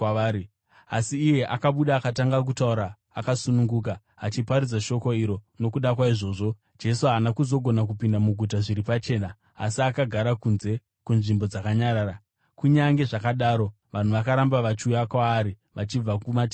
Asi iye akabuda akatanga kutaura akasununguka, achiparadzira shoko iro. Nokuda kwaizvozvo, Jesu haana kuzogona kupinda muguta zviri pachena asi akagara kunze, kunzvimbo dzakanyarara. Kunyange zvakadaro vanhu vakaramba vachiuya kwaari vachibva kumativi ose.